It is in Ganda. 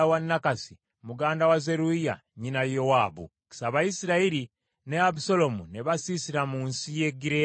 Abayisirayiri ne Abusaalomu ne basiisira mu nsi ya Gireyaadi.